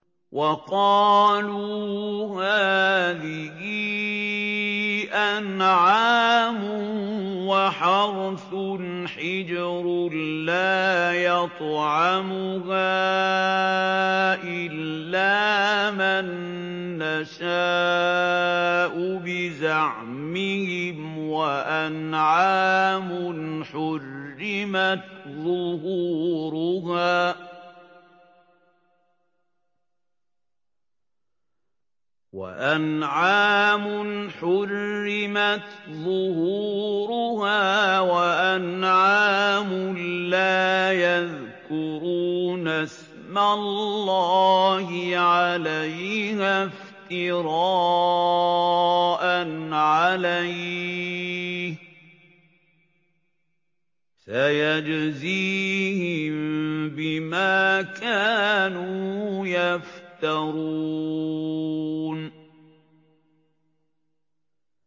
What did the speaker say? وَقَالُوا هَٰذِهِ أَنْعَامٌ وَحَرْثٌ حِجْرٌ لَّا يَطْعَمُهَا إِلَّا مَن نَّشَاءُ بِزَعْمِهِمْ وَأَنْعَامٌ حُرِّمَتْ ظُهُورُهَا وَأَنْعَامٌ لَّا يَذْكُرُونَ اسْمَ اللَّهِ عَلَيْهَا افْتِرَاءً عَلَيْهِ ۚ سَيَجْزِيهِم بِمَا كَانُوا يَفْتَرُونَ